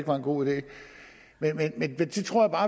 var en god idé jeg tror